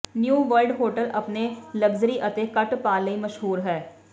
new world hotel ਆਪਣੇ luxury ਅਤੇ ਘੱਟ ਭਾਅ ਲਈ ਮਸ਼ਹੂਰ ਹੈ